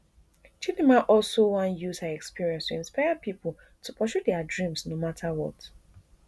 chidimma also wan use her experience to inspire pipo to pursue dia dreams no mata what